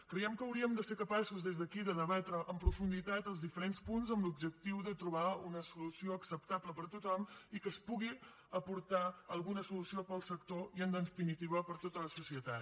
creiem que hauríem de ser capaços des d’aquí de debatre en profunditat els diferents punts amb l’objectiu de trobar una solució acceptable per a tothom i que es pugui aportar alguna solució per al sector i en definitiva per a tota la societat